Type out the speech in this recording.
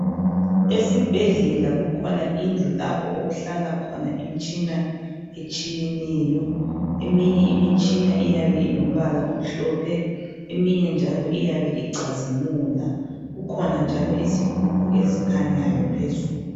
Esibhedlela kukhona indlu lapho okuhlala khona imitshina etshiyeneyo. Eminye imitshina iyabe ilombala omhlophe, eminye njalo iyabe icazimula. Kukhona njalo izighubhu ezikhanyayo phezulu.